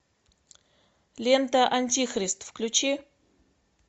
лента антихрист включи